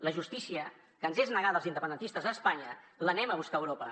la justícia que ens és negada als independentistes a espanya l’anem a buscar a europa